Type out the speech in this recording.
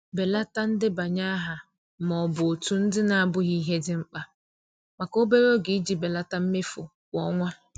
Belata ndebanye aha ma ọ bụ òtù ndị na-abụghị ihe dị mkpa maka obere oge iji belata mmefu kwa ọnwa.